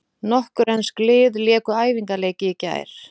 Nokkur ensk lið léku æfingaleiki í gær.